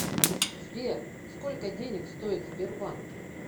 сбер сколько денег стоит сбербанк